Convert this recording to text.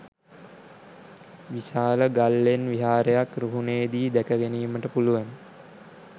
විශාල ගල්ලෙන් විහාරයක් රුහුණේ දී දැක ගැනීමට පුළුවන.